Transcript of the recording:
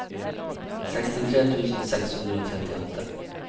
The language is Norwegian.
sekstitre tusen seks hundre og trettiåtte